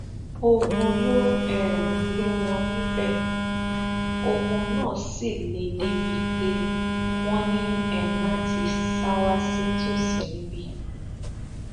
ogun ló um lé wọn níbẹ ogun náà sì le débií pé wọn ní um láti sá wá sí tòsí níbí